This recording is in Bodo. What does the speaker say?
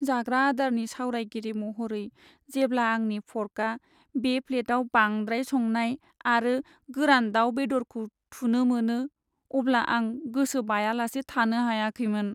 जाग्रा आदारनि सावरायगिरि महरै, जेब्ला आंनि फर्कआ बे प्लेटआव बांद्राय संनाय आरो गोरान दाउ बेदरखौ थुनो मोनो, अब्ला आं गोसो बायालासै थानो हायाखैमोन।